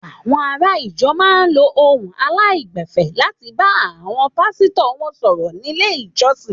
Àwọn ará ìjọ máa ń lo ohùn aláìgbẹ̀fẹ̀ láti fi bá àwọn pàsítọ̀ wọn sọ̀rọ̀ nílé ìjọsìn.